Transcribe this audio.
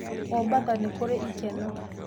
Mombatha nĩ kũrĩ ikeno